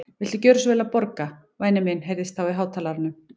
Viltu gjöra svo vel að borga, væni minn heyrðist þá í hátalaranum.